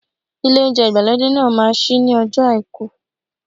Ilé oúnjẹ ìgbàlódé náà ma ṣí ní ọjọ́ọ Àìkú.